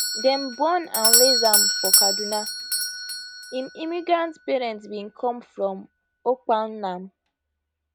dem born and raise am for kaduna im immigrant parents bin come from okpanam